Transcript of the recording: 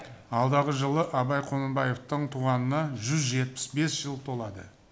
алдағы жылы абай құнанбаевтың туғанына жүз жетпіс бес жыл толады